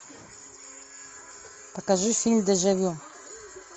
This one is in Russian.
покажи фильм дежавю